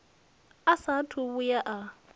a saathu u vhuya a